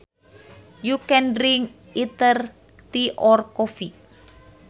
You can drink either tea or coffee